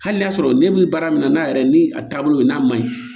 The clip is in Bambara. Hali n'a y'a sɔrɔ ne bɛ baara min na n'a yɛrɛ ni a taabolo n'a man ɲi